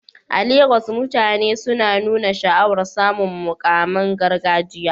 A Legas, mutane suna nuna sha'awar samun muƙaman gargajiya